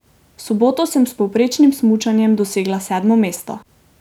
V soboto sem s povprečnim smučanjem dosegla sedmo mesto.